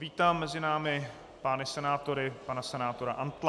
Vítám mezi námi pány senátory, pana senátora Antla.